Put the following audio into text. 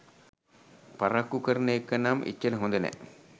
පරක්කු කරන එක නම් එච්චර හොඳ නෑ.